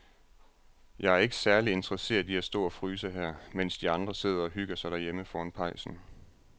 Jeg er ikke særlig interesseret i at stå og fryse her, mens de andre sidder og hygger sig derhjemme foran pejsen.